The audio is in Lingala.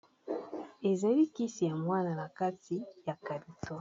ezali kisi ya mwana na kati ya calito